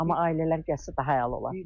Amma ailələr gəlsə daha əla olar.